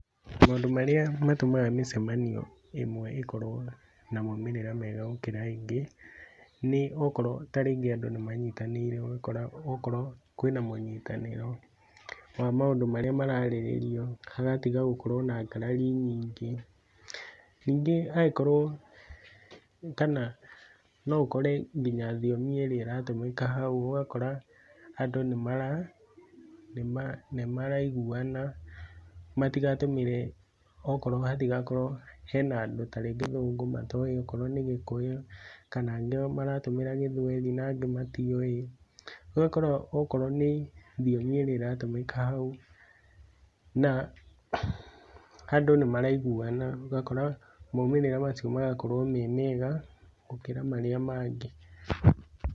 Maũndũ marĩa matũmaga mĩcemanio ĩmwe ĩkorwo na moimĩrĩra mega gũkĩra ĩngĩ, nĩ okorwo ta rĩngĩ andũ nĩ manyitanĩire okorwo kwĩ na mũnyitanĩro, wa maundũ marĩa mararĩrĩrio hagatiga korwo na ngarari nyingĩ, ningĩ hangĩkorwo, kana no ũkore nginya thiomi ĩrĩa ĩratũmĩka hau, ũgakũra andũ nĩmaraiguana matigatũmĩri okworo hatigakorwo hena andũ ta rĩngĩ gĩthũngũ matiowĩ, akorwo nĩ ta gĩkũyũ kana angĩ maratumĩrĩra gĩthwaĩri na angĩ matiowĩ. Ũgakora akorwo nĩ thiomi irĩa ĩratũmĩka hau na andũ nĩ maraiguana, ũgakora maumĩrĩra macio magakorwo me mega gũkĩra marĩa mangĩ.